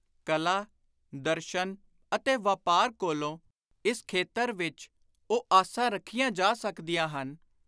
ਕਲਾ, ਦਰਸ਼ਨ ਅਤੇ ਵਾਪਾਰ ਕੋਲੋਂ ਇਸ ਖੇਤਰ ਵਿਚ ਉਹ ਆਸਾਂ ਰੱਖੀਆਂ ਜਾ ਸਕਦੀਆਂ ਹਨ,